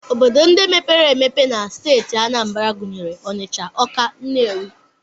Obodo ndị mepere emepe na steeti Anambra gụnyere Ọnịcha, Ọka, Nnewi